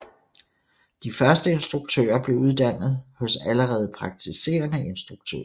De første instruktører blev uddannet hos allerede praktiserende instruktører